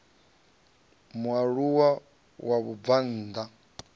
mualuwa wa mubvann ḓa a